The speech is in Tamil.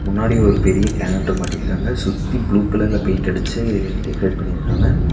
முன்னாடி ஒரு பெரிய கேலண்டர் மாட்டிருக்காங்க. சுத்தி ப்ளூ கலர்ல பெயிண்ட் அடிச்சு டெக்கரேட் பண்ணிருக்காங்க.